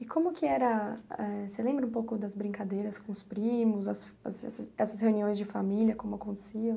E como que era, eh você lembra um pouco das brincadeiras com os primos, as assas essas reuniões de família, como aconteciam?